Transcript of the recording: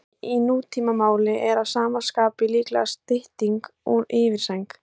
Sæng í nútímamáli er að sama skapi líklega stytting úr yfirsæng.